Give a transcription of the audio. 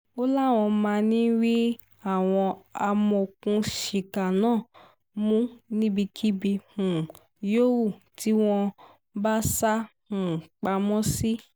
ó láwọn máa rí àwọn amọ̀òkùnsíkà náà mú níbikíbi um yòówù tí wọ́n bá sá um pamọ́ sí